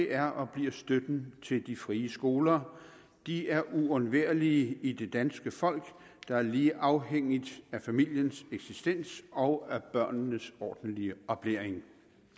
er og bliver støtten til de frie skoler de er uundværlige i det danske folk der er lige afhængig af familiens eksistens og af børnenes ordentlige oplæring